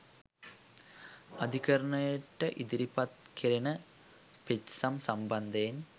අධිකරණයට ඉදිරිපත් කෙරෙන පෙත්සම් සම්බන්ධයෙන්